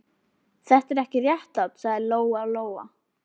Þetta er ekki réttlátt, sagði Lóa-Lóa.